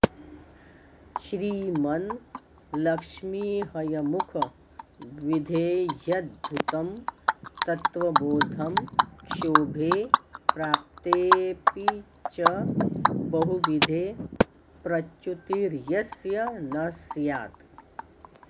श्रीमन् लक्ष्मीहयमुख विधेह्यद्भुतं तत्त्वबोधं क्षोभे प्राप्तेऽपि च बहुविधे प्रच्युतिर्यस्य न स्यात्